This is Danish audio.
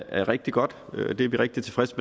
er rigtig godt vi er rigtig tilfredse